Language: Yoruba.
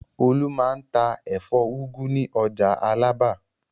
Olú máa ń ta ẹ̀fọ́ úgú ní ọjà Alábà.